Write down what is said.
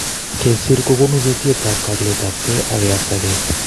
Kesir ko konunotiotap kakiletapkei ak keyoktokei